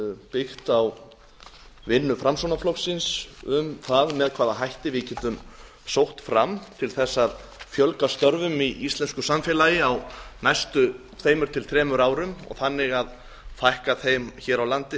byggt á vinnu framsóknarflokksins um það með hvaða hætti við getum sótt fram til að fjölga störfum í íslensku samfélagi á næstu tvö til þremur árum og þannig að fækka þeim hér á landi